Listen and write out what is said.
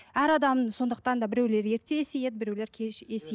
әр адам сондықтан да біреулер ерте есейеді біреулер кеш